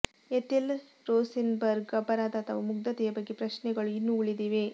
Ethel ರೋಸೆನ್ಬರ್ಗ್ನ ಅಪರಾಧ ಅಥವಾ ಮುಗ್ಧತೆಯ ಬಗ್ಗೆ ಪ್ರಶ್ನೆಗಳು ಇನ್ನೂ ಉಳಿದಿವೆ